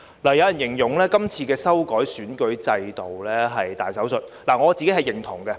有人形容今次修改選舉制度是大手術，我是認同的。